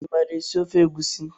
Imara esi ofe egusi?